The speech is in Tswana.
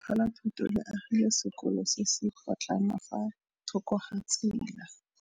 Lefapha la Thuto le agile sekôlô se se pôtlana fa thoko ga tsela.